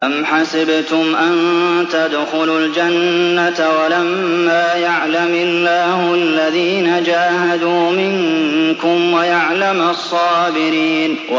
أَمْ حَسِبْتُمْ أَن تَدْخُلُوا الْجَنَّةَ وَلَمَّا يَعْلَمِ اللَّهُ الَّذِينَ جَاهَدُوا مِنكُمْ وَيَعْلَمَ الصَّابِرِينَ